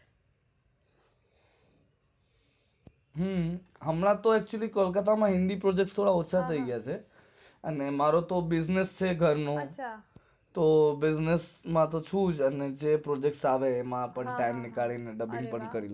હમ્મ હુમના તો અત્યારે અહીંયા hindi priject ઓછા થઇ ગે છે મારે તો business છે ઘરનો